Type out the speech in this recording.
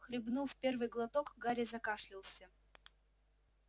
хлебнув первый глоток гарри закашлялся